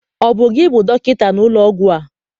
Ọ bụ gị bụ dọkịta n'ụlọ ọgwụ a?